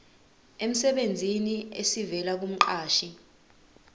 emsebenzini esivela kumqashi